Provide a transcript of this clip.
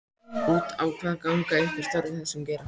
Út á hvað ganga ykkar störf í þessum geira?